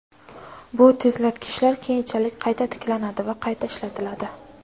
Bu tezlatkichlar keyinchalik qayta tiklanadi va qayta ishlatiladi.